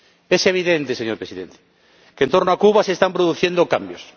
Es evidente, señor Presidente, que, en torno a Cuba, se están produciendo cambios.